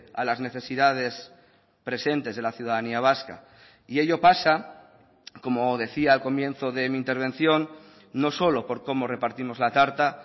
a las necesidades presentes de la ciudadanía vasca y ello pasa como decía al comienzo de mi intervención no solo por cómo repartimos la tarta